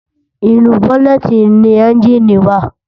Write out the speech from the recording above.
Inú bònètí ni ènjiní wá